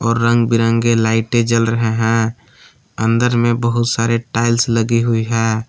और रंग बिरंगे लाइटें जल रहे हैं अंदर में बहुत सरे टाइल्स लगे हुई है।